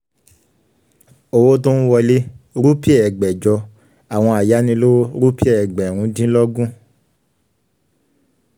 owó tó ń wọlé: rúpì ẹgbẹ̀jọ; àwọn ayánilówó: rúpì ẹgbẹ̀rúndínlógún.